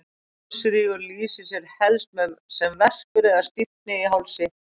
Hálsrígur lýsir sér helst sem verkur eða stífni í hálsi.